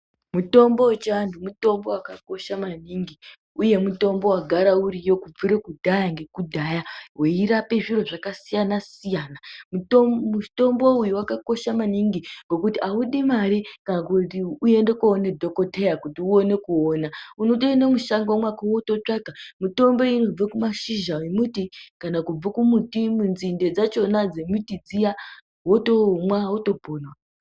Mutombo vechiantu mutombo vakakosha maningi, uye mutombo vagara uriyo kubvire kudhaya ngekudhaya. Veirape zviro zvakasiyana-siyana mutombo uyu vakakosha maningi ngekuti haudi mari kana kuti uende koone dhokoteya kuti uone kuona. Unotoende mushango mwako votitsvaka mitombo iyi inobva kumashizha emuti kana kubva mumuti munzinde dzachona dzemiti dziya votomwa votopona.